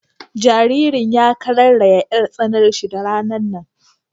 Jaririn ya kararayya 'yar tsananshi da ranan nan.